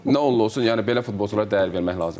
Nə oldu, olsun, yəni belə futbolçulara dəyər vermək lazımdır.